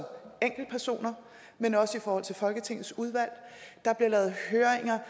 enkeltpersoner men også i forhold til folketingets udvalg der bliver lavet høringer